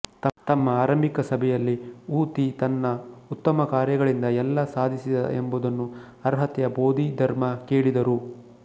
ತಮ್ಮ ಆರಂಭಿಕ ಸಭೆಯಲ್ಲಿ ವು ತಿ ತನ್ನ ಉತ್ತಮ ಕಾರ್ಯಗಳಿಂದ ಎಲ್ಲಾ ಸಾಧಿಸಿದ ಎಂಬುದನ್ನು ಅರ್ಹತೆಯ ಬೋಧಿಧರ್ಮ ಕೇಳಿದರು